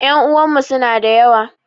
Ƴan uwanmu suna da yawa